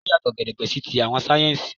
Ó yàtọ̀ gedegbe sí ti àwọn sáyẹ́ńsì